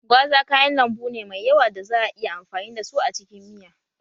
Gwaza kayan lambu ne mai yawa da za a iya amfani da su a cikin miya